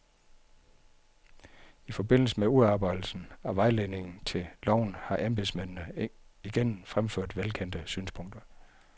I forbindelse med udarbejdelsen af vejledningen til loven har embedsmændene igen fremført velkendte synspunkter.